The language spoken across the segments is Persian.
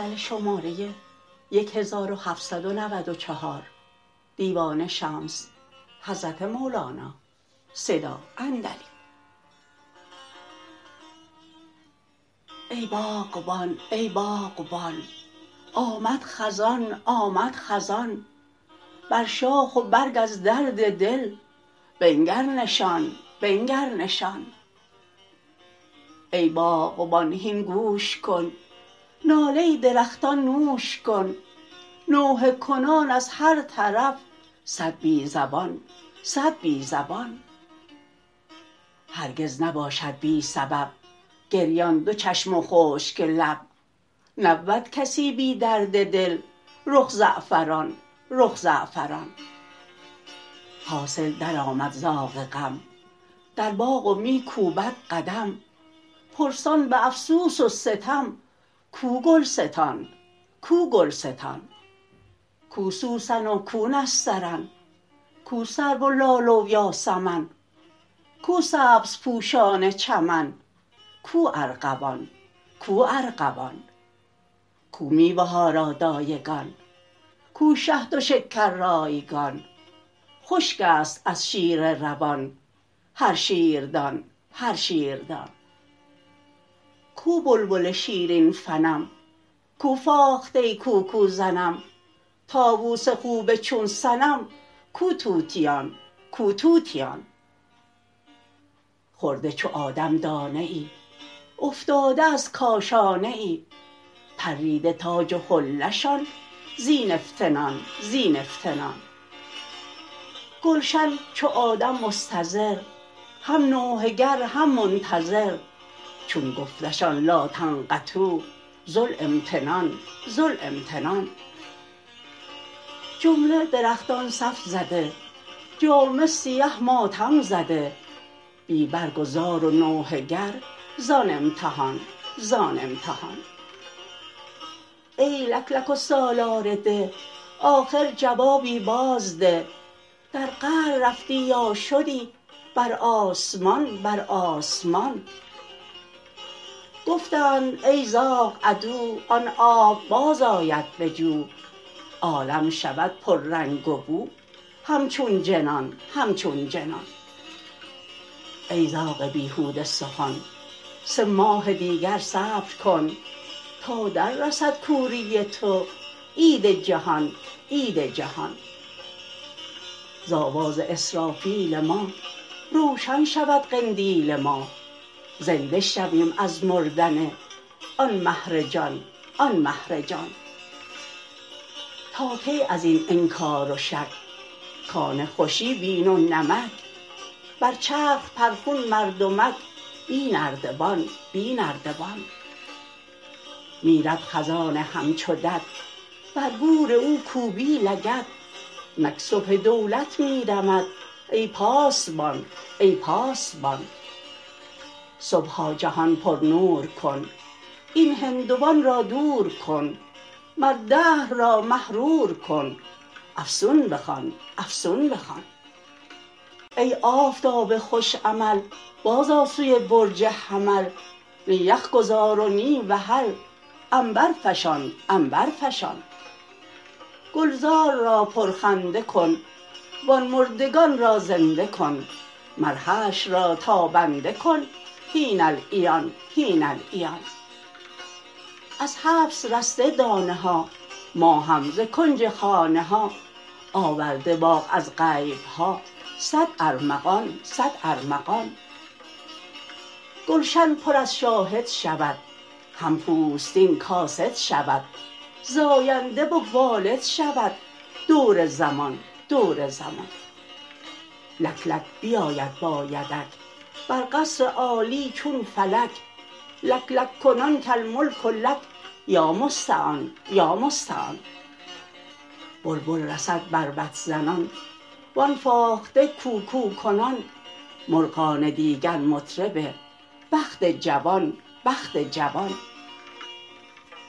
ای باغبان ای باغبان آمد خزان آمد خزان بر شاخ و برگ از درد دل بنگر نشان بنگر نشان ای باغبان هین گوش کن ناله درختان نوش کن نوحه کنان از هر طرف صد بی زبان صد بی زبان هرگز نباشد بی سبب گریان دو چشم و خشک لب نبود کسی بی درد دل رخ زعفران رخ زعفران حاصل درآمد زاغ غم در باغ و می کوبد قدم پرسان به افسوس و ستم کو گلستان کو گلستان کو سوسن و کو نسترن کو سرو و لاله و یاسمن کو سبزپوشان چمن کو ارغوان کو ارغوان کو میوه ها را دایگان کو شهد و شکر رایگان خشک است از شیر روان هر شیردان هر شیردان کو بلبل شیرین فنم کو فاخته کوکوزنم طاووس خوب چون صنم کو طوطیان کو طوطیان خورده چو آدم دانه ای افتاده از کاشانه ای پریده تاج و حله شان زین افتنان زین افتنان گلشن چو آدم مستضر هم نوحه گر هم منتظر چون گفتشان لا تقنطوا ذو الامتنان ذو الامتنان جمله درختان صف زده جامه سیه ماتم زده بی برگ و زار و نوحه گر زان امتحان زان امتحان ای لک لک و سالار ده آخر جوابی بازده در قعر رفتی یا شدی بر آسمان بر آسمان گفتند ای زاغ عدو آن آب بازآید به جو عالم شود پررنگ و بو همچون جنان همچون جنان ای زاغ بیهوده سخن سه ماه دیگر صبر کن تا دررسد کوری تو عید جهان عید جهان ز آواز اسرافیل ما روشن شود قندیل ما زنده شویم از مردن آن مهر جان آن مهر جان تا کی از این انکار و شک کان خوشی بین و نمک بر چرخ پرخون مردمک بی نردبان بی نردبان میرد خزان همچو دد بر گور او کوبی لگد نک صبح دولت می دمد ای پاسبان ای پاسبان صبحا جهان پرنور کن این هندوان را دور کن مر دهر را محرور کن افسون بخوان افسون بخوان ای آفتاب خوش عمل بازآ سوی برج حمل نی یخ گذار و نی وحل عنبرفشان عنبرفشان گلزار را پرخنده کن وان مردگان را زنده کن مر حشر را تابنده کن هین العیان هین العیان از حبس رسته دانه ها ما هم ز کنج خانه ها آورده باغ از غیب ها صد ارمغان صد ارمغان گلشن پر از شاهد شود هم پوستین کاسد شود زاینده و والد شود دور زمان دور زمان لک لک بیاید با یدک بر قصر عالی چون فلک لک لک کنان کالملک لک یا مستعان یا مستعان بلبل رسد بربط زنان وان فاخته کوکوکنان مرغان دیگر مطرب بخت جوان بخت جوان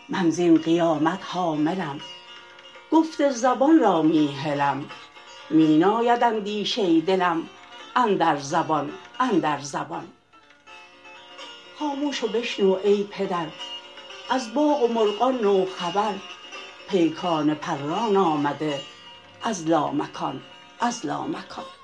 من زین قیامت حاملم گفت زبان را می هلم می ناید اندیشه دلم اندر زبان اندر زبان خاموش و بشنو ای پدر از باغ و مرغان نو خبر پیکان پران آمده از لامکان از لامکان